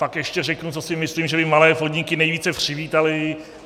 Pak ještě řeknu, co si myslím, že by malé podniky nejvíce přivítaly.